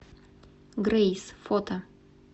грейс фото